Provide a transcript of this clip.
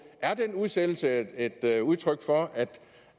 er den udsættelse et et udtryk for